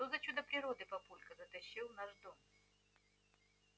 что за чудо природы папулька затащил в наш дом